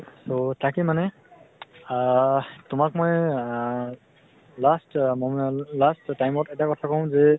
so, তাকে মানে আহ তোমাক মই আ lastউম last time ত এটা কথা কওঁ যে